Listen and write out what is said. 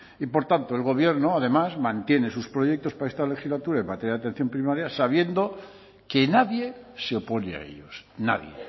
y por tanto el gobierno además mantiene sus proyectos para esta legislatura en materia de atención primaria sabiendo que nadie se opone a ellos nadie